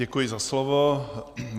Děkuji za slovo.